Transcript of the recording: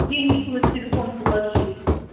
денежку на телефон положить